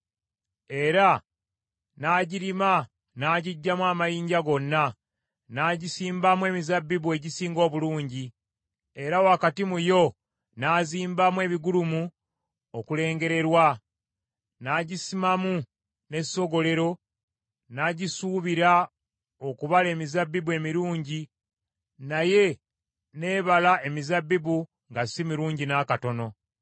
Era n’agirima n’agiggyamu amayinja gonna, n’agisimbamu emizabbibu egisinga obulungi. Era wakati mu yo n’azimbamu ebigulumu okulengererwa. N’agisimamu n’essogolero n’agisuubira okubala emizabbibu emirungi naye n’ebala emizabbibu nga si mirungi n’akatono.